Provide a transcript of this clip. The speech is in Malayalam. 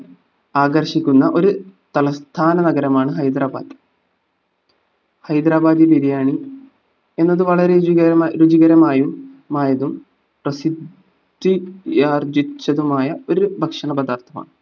ആകർഷിക്കുന്ന ഒര് തലസ്ഥാന നഗരമാണ് ഹൈദരാബാദ് ഹൈദരാബാദി ബിരിയാണി എന്നത് വളരെ രുചികരമായും രുചികരമായും മായതും പ്രസിദ്ധിയാർജിച്ചതുമായ ഒരു ഭക്ഷണ പദാർത്ഥമാണ്